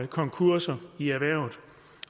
konkurser i erhvervet